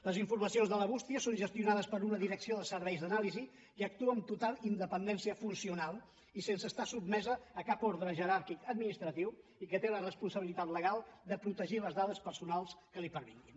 les informacions de la bústia són gestionades per una direcció de serveis d’anàlisi que actua amb total independència funcional i sense estar sotmesa a cap ordre jeràrquic administratiu i que té la responsabilitat legal de protegir les dades personals que li pervinguin